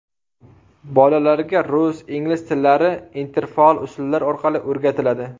Bolalarga rus, ingliz tillari interfaol usullar orqali o‘rgatiladi.